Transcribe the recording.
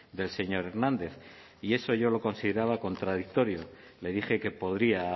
del señor hernández y eso yo lo consideraba contradictorio le dije que podría